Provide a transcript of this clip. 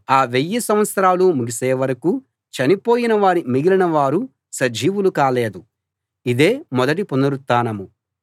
ఆ వెయ్యి సంవత్సరాలు ముగిసే వరకూ చనిపోయిన మిగిలిన వారు సజీవులు కాలేదు ఇదే మొదటి పునరుత్థానం